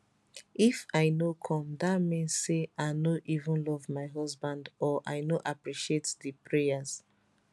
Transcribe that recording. if i no come dat mean say i no even love my husband or i no appreciate di prayers